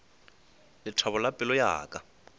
lethabo la pelo ya ka